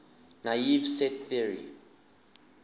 naive set theory